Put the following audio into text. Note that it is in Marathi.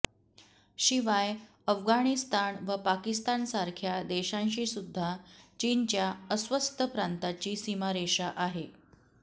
शिवाय अफगाणिस्तान व पाकिस्तानसारख्या देशांशीसुद्धा चीनच्या अस्वस्थ प्रांताची सीमारेषा आहे